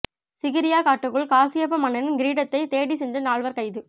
சிகிரியா காட்டுக்குள் காசியப்ப மன்னனின் கீரிடத்தைத் தேடிச் சென்ற நால்வர் கைது